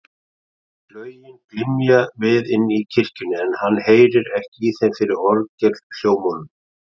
Slögin glymja við inni í kirkjunni, en hann heyrir ekki í þeim fyrir orgelhljómunum.